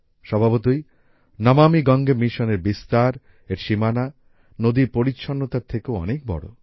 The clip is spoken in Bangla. স্বভাবতই নমামি গঙ্গে মিশনের বিস্তার এর সীমানা নদীর পরিচ্ছন্নতার থেকেও অনেক বড়